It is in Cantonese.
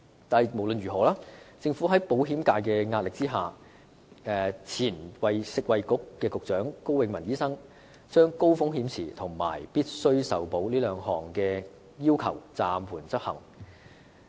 但無論如何，政府在保險界的壓力下，前任食物及衞生局局長高永文醫生將高風險池和必須受保這兩項要求暫緩執行。